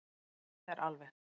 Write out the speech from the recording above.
Þetta er alveg.